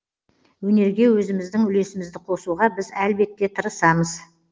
өнерге өзіміздің үлесімізді қосуға біз әлбетте тырысамыз